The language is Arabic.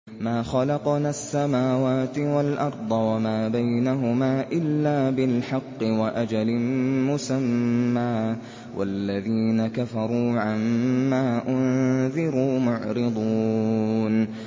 مَا خَلَقْنَا السَّمَاوَاتِ وَالْأَرْضَ وَمَا بَيْنَهُمَا إِلَّا بِالْحَقِّ وَأَجَلٍ مُّسَمًّى ۚ وَالَّذِينَ كَفَرُوا عَمَّا أُنذِرُوا مُعْرِضُونَ